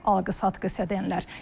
Ev alqı-satqısı edənlər.